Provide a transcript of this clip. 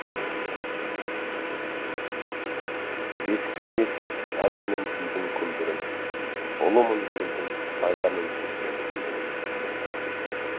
бесіктен естіп әнменен күйдің күмбірін ұлымын елдің найзамен кескен кіндігін